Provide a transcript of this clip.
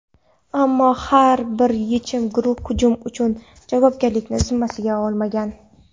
Ammo hech bir guruh hujum uchun javobgarlikni zimmasiga olmagan.